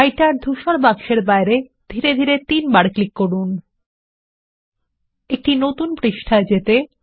writer ধূসর বাক্স এর বাইরে ধীরে ধীরে তিনবার ক্লিক করান একটি নতুন পৃষ্ঠায় যেতে